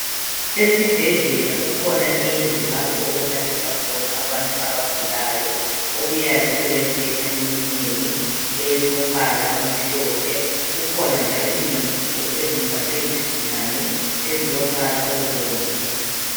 Esibhedlela kukhona indlu lapho okulaliswa khona abantu abagulayo okuyabe kulembheda eminengi elombala omhlophe . Kukhona njalo izingubo ezimbathwe yizigulane ezilombala obomvu.